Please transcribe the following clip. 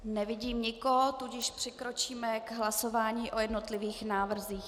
Nevidím nikoho, tudíž přikročíme k hlasování o jednotlivých návrzích.